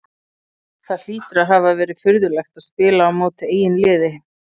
Það hlýtur að hafa verið furðulegt að spila á móti eigin liði?